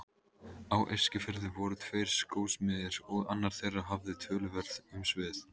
Á Eskifirði voru tveir skósmiðir og annar þeirra hafði töluverð umsvif.